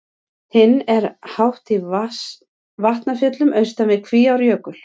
Hinn er hátt í Vatnafjöllum austan við Kvíárjökul.